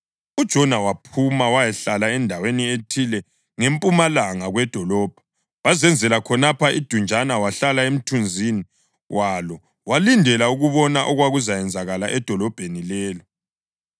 UJona waphuma wayahlala endaweni ethile ngempumalanga kwedolobho. Wazenzela khonapho idunjana wahlala emthunzini walo walindela ukubona okwakuzakwenzakala edolobheni lelo.